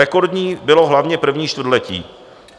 Rekordní bylo hlavně první čtvrtletí.